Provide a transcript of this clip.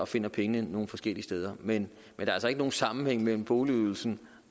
finder pengene nogle forskellige steder men der er altså ikke nogen sammenhæng mellem boligydelsen